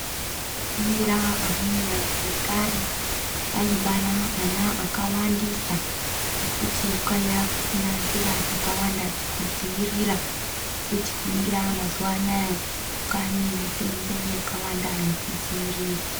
Ukaningira amweni anthu ekare, aibara ana akawandisa, ngekuti kwaiya kusina nzira dzakawanda dzekudziirira. Uye tikaningira mazuwa anaa, kwaane mitombo yakawanda yekudziirira.